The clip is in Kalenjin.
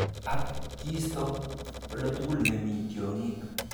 Ak kisto oldatugul nemi tiong'ik.